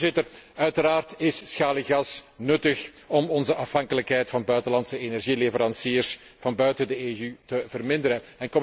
Voorzitter, uiteraard is schaliegas nuttig om onze afhankelijkheid van buitenlandse energieleveranciers van buiten de EU te verminderen.